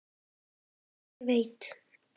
En hver veit?